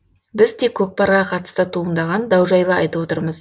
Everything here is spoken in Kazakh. біз тек көкпарға қатысты туындаған дау жайлы айтып отырмыз